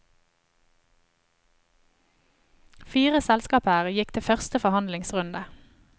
Fire selskaper gikk til første forhandlingsrunde.